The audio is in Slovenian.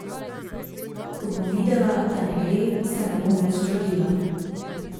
Ko bom videla, da ne gre, se ne bom več trudila.